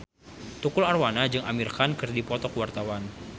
Tukul Arwana jeung Amir Khan keur dipoto ku wartawan